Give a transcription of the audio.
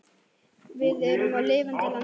Við erum á lifandi landi.